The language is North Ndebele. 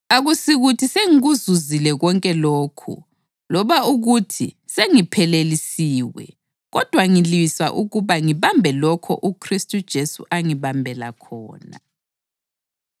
Akusikuthi sengikuzuzile konke lokhu loba ukuthi sengiphelelisiwe kodwa ngilwisa ukuba ngibambe lokho uKhristu Jesu angibambela khona.